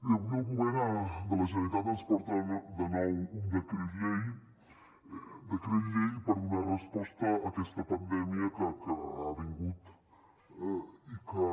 bé avui el govern de la generalitat ens porta de nou un decret llei per donar resposta a aquesta pandèmia que ha vingut i que